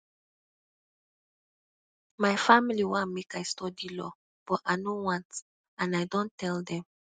my family wan make i study law but i no want and i don tell dem